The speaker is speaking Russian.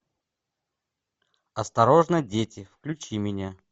осторожно дети включи мне